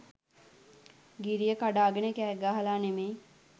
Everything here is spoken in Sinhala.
ගිරිය කඩාගෙන කෑගහලා නෙමෙයි.